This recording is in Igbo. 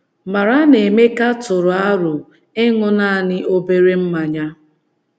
Mara na Emeka tụrụ aro ịṅụ nanị “ obere mmanya. ”